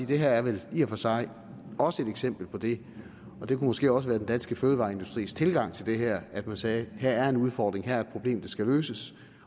det her er vel i og for sig også et eksempel på det og det kunne måske også være den danske fødevareindustris tilgang til det her at man sagde her er en udfordring her problem der skal løses